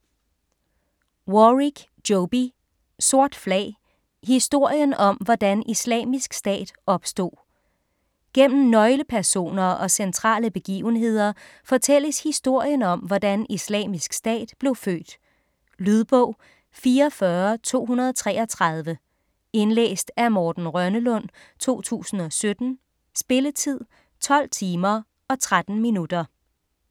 Warrick, Joby: Sort flag: historien om hvordan Islamisk Stat opstod Gennem nøglepersoner og centrale begivenheder fortælles historien om hvordan Islamisk Stat blev født. Lydbog 44233 Indlæst af Morten Rønnelund, 2017. Spilletid: 12 timer, 13 minutter.